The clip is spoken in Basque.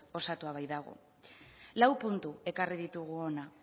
osatua baitago lau puntu ekarri ditugu hona